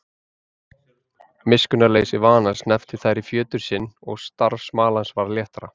Miskunnarleysi vanans hneppti þær í fjötur sinn og starf smalans varð léttara.